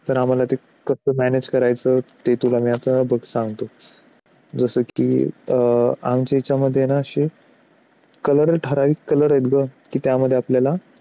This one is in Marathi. तर त्या मला कसं manage करायचं ते तुला मी आता बघ सांगतो जसं की अं आमच्या याच्यामध्ये ना असे color ठराविक color आहेत का त्यामध्ये आपल्याला